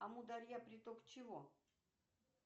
амудалья приток чего